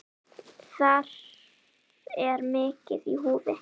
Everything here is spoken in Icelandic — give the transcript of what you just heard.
Þar er mikið í húfi.